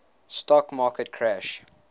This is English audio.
stock market crash